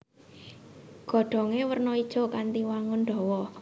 Godhongé werna ijo kanthi wangun dawa